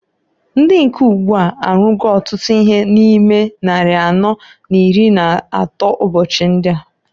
Ndi nke ugbu a arụgo ọtụtụ ihe na ime nnari anọọ n'iri n'atọ ụbọchị ndịa.